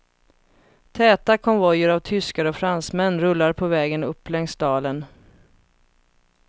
Täta konvojer av tyskar och fransmän rullar på vägen upp längs dalen.